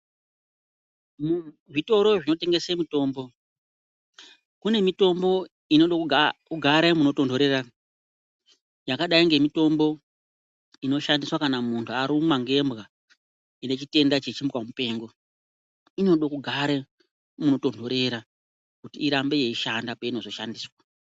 Muzvitoro zvinotengese mitombo, mune mitombo inode kugare munotonhorera. Yakadai ngemitombo inoshandiswa kana muntu arumwa ngembwa ine chitenda chechimbwa mupengo. Inode kugare munotonhorera kuti irambe yeishanda peinozoshandiswa.